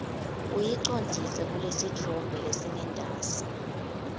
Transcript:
uyicondzise kulesitfombe lesingentasi